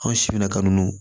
Anw si bɛna kanu